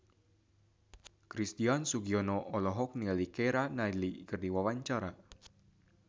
Christian Sugiono olohok ningali Keira Knightley keur diwawancara